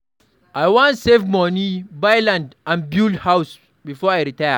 I wan save money, buy land, and build house before I retire.